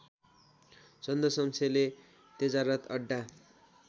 चन्द्रशमशेरले तेजारथ अड्डा